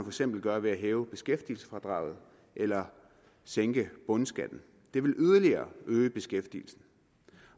eksempel gøre ved at hæve beskæftigelsesfradraget eller sænke bundskatten det ville yderligere øge beskæftigelsen